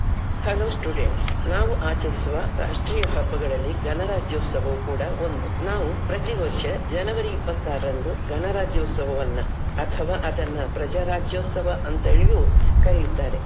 Hello students ನಾವು ಆಚರಿಸುವ ರಾಷ್ಟ್ರೀಯ ಹಬ್ಬಗಳಲ್ಲಿ ಗಣರಾಜ್ಯೋತ್ಸವವು ಕೂಡ ಒಂದು. ನಾವು ಪ್ರತಿ ವರ್ಷ January ಇಪಾತ್ತಾರರಂದು ಗಣರಾಜ್ಯೋತ್ಸವವನ್ನ ಅಥವಾ ಅದನ್ನ ಪ್ರಜಾರಾಜ್ಯೋತ್ಸವ ಅಂತ ಹೇಳಿಯೂ ಕರಿಯುತ್ತಾರೆ.